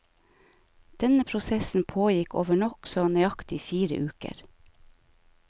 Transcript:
Denne prosessen pågikk over nokså nøyaktig fire uker.